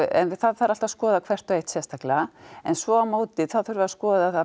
en það þarf alltaf að skoða hvert og eitt sérstaklega en svo á móti þurfum við að skoða